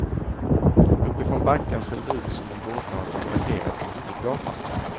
Uppifrån backen ser det ut som om båtarna stod parkerade på huvudgatan.